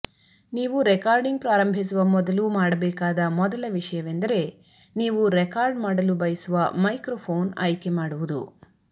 ನೀವು ರೆಕಾರ್ಡಿಂಗ್ ಪ್ರಾರಂಭಿಸುವ ಮೊದಲು ಮಾಡಬೇಕಾದ ಮೊದಲ ವಿಷಯವೆಂದರೆ ನೀವು ರೆಕಾರ್ಡ್ ಮಾಡಲು ಬಯಸುವ ಮೈಕ್ರೊಫೋನ್ ಆಯ್ಕೆ ಮಾಡುವುದು